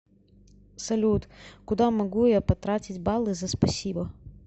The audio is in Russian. салют куда могу я потратить баллы за спасибо